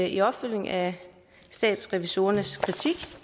i opfølgningen af statsrevisorernes kritik